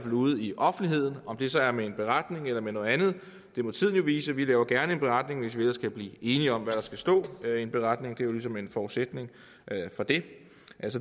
ude i offentligheden om det så er med en beretning eller med noget andet det må tiden jo vise vi laver gerne en beretning hvis vi ellers kan blive enige om hvad der skal stå i en beretning det er jo ligesom en forudsætning for det